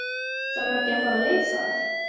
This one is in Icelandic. Þarf ekki að fara leysa þær?